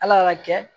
Ala y'a kɛ